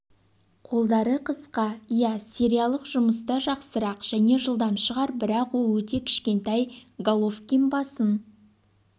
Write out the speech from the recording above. қолдары қысқа иә сериялық жұмыста жақсырақ және жылдам шығар бірақ ол өте кішкентай головкин басым